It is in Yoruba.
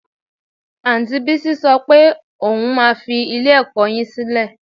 Anti Bísí sọ pé òun máa fi ilé-ẹ̀kọ́ yín sílẹ̀